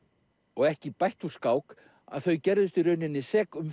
og ekki bætti úr skák að þau gerðust í raun sek um